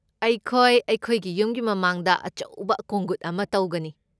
ꯑꯩꯈꯣꯏ ꯑꯩꯈꯣꯏꯒꯤ ꯌꯨꯝꯒꯤ ꯃꯃꯥꯡꯗ ꯑꯆꯧꯕ ꯀꯣꯡꯘꯨꯠ ꯑꯃ ꯇꯧꯒꯅꯤ꯫